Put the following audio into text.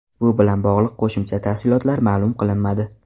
Bu bilan bog‘liq qo‘shimcha tafsilotlar ma’lum qilinmadi.